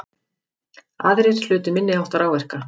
Aðrir hlutu minniháttar áverka